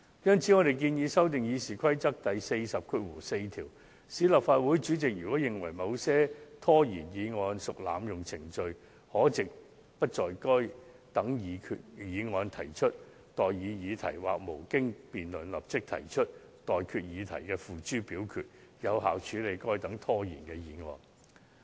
因此，我們建議修訂《議事規則》第404條，賦權立法會主席在其認為某些拖延議案屬濫用程序，可藉不就該等議案提出待議議題或無經辯論立即提出待決議題付諸表決，以有效處理該等拖延議案。